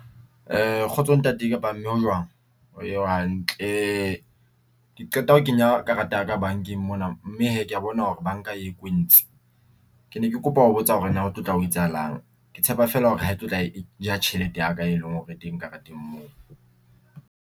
Kgotso ntate kapa mme ho jwang ho hantle, ke qeta ho kenya karata ya ka bankeng mona mme hee ke ya bona hore banka e kwentse. Ke ne ke kopa ho botsa hore na ho tlo tla ho etsahalang ke tshepa fela hore ha e tlo tla e ja tjhelete ya ka e leng hore e teng kareteng mo.